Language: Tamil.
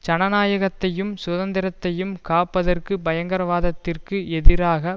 ஜனநாயகத்தையும் சுதந்திரத்தையும் காப்பதற்கு பயங்கரவாதத்திற்கு எதிராக